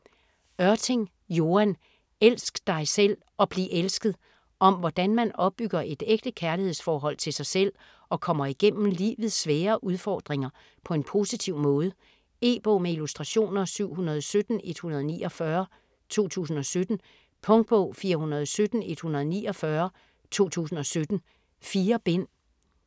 Ørting, Joan: Elsk dig selv og bliv elsket Om hvordan man opbygger et ægte kærlighedsforhold til sig selv og kommer igennem livets svære udfordringer på en positiv måde. E-bog med illustrationer 717149 2017. Punktbog 417149 2017. 4 bind.